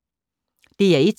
DR1